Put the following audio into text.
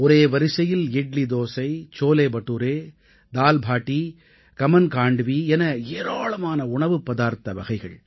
ஒரே வரிசையில் இட்லி தோசை சோலே படூரே தால் பாடீ கமன் காண்ட்வீ என ஏராளமான உணவுப் பதார்த்த வகைகள்